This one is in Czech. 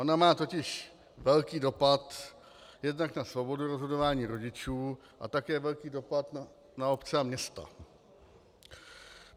Ona má totiž velký dopad jednak na svobodu rozhodování rodičů a také velký dopad na obce a města.